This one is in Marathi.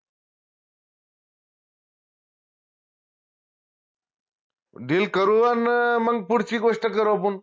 deal करू अन मंग पुढची गोष्ट करू आपुन